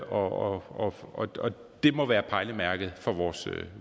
og og det må være pejlemærket for vores